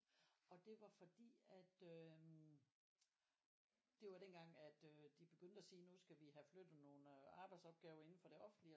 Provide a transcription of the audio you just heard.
Og det var fordi at øhm det var dengang at øh de begyndte at sige at nu skal vi have flyttet nogle øh arbejsopgaver inde fra det offentlige